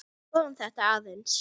Skoðum þetta aðeins.